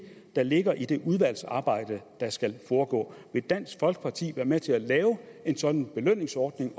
der ligger i det udvalgsarbejde der skal foregå vil dansk folkeparti være med til at lave en sådan belønningsordning